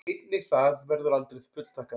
Einnig það verður aldrei fullþakkað.